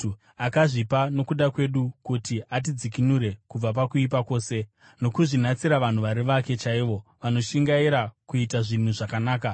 akazvipa nokuda kwedu kuti atidzikinure kubva pakuipa kwose, nokuzvinatsira vanhu vari vake chaivo, vanoshingaira kuita zvinhu zvakanaka.